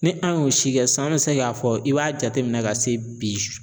Ni an y'o si kɛ san an be se k'a fɔ i b'a jateminɛ ka se bi